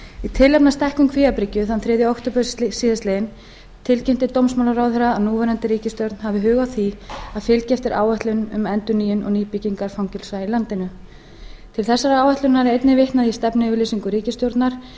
í tilefni af stækkun kvíabryggju þann þriðja október síðastliðinn tilkynnti dómsmálaráðherra að núverandi ríkisstjórn hefði hug á því að fylgja eftir áætlun um endurnýjun og nýbyggingar fangelsa í landinu til þessarar áætlunar er einnig vitnað í stefnuyfirlýsingu ríkisstjórnar en